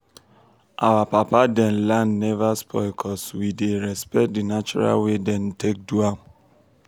our papa them land never spoil cuz we dey respect the natural way wey dem take do am.